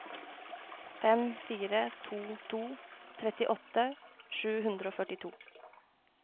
fem fire to to trettiåtte sju hundre og førtito